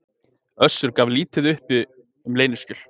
Össur gaf lítið uppi um leyniskjöl